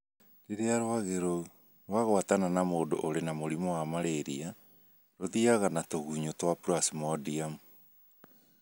Rĩrĩa rwagĩ rũu rũagwatana na mũndũ ũrĩ na mũrimũ wa malaria, rũthiaga na tũgunyũ twa Plasmodium.